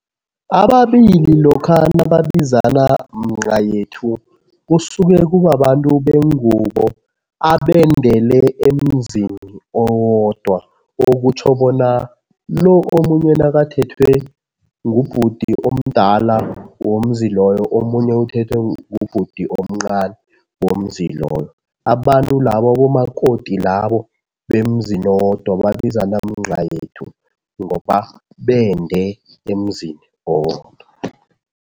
Ababili lokha nababizana mncayethu, kusuke kubabantu bengubo abendele emzini owodwa. Okutjho bona lo omunye nakathethwe ngubhuti omdala womzi loyo, omunye uthethwe ngubhuti omncani womzi loyo. Abantu labo, abomakoti labo, bemzini owodwa babizana mncayethu ngoba bende emzini owodwa.